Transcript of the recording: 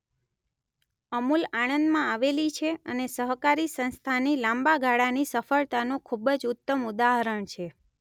અમૂલ આણંદમાં આવેલી છે અને સહકારી સંસ્થાની લાંબા ગાળાની સફળતાનું ખૂબ જ ઉત્તમ ઉદાહરણ છે.